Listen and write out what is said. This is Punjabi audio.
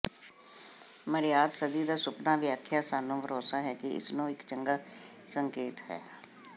ਮਰਯਾਦ ਸਦੀ ਦਾ ਸੁਪਨਾ ਵਿਆਖਿਆ ਸਾਨੂੰ ਭਰੋਸਾ ਹੈ ਕਿ ਇਸ ਨੂੰ ਇੱਕ ਚੰਗਾ ਸੰਕੇਤ ਹੈ